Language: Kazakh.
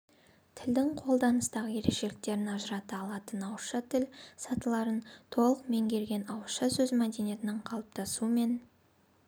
тілдің қолданыстағы ерекшеліктерін ажырата алатын ауызша тіл сатыларын толық меңгерген ауызша сөз мәдениетінің қалыптасу мен